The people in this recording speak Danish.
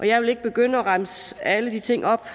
jeg vil ikke begynde at remse alle de ting op